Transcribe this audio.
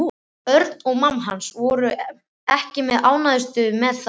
Örn og mamma hans voru ekki sem ánægðust með það.